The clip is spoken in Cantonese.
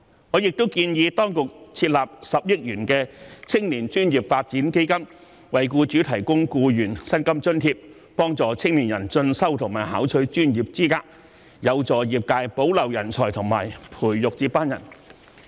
我亦建議當局設立10億元的青年專業發展基金，為僱主提供僱員薪金津貼，幫助青年人進修和考取專業資格，有助業界保留人才和培育接班人。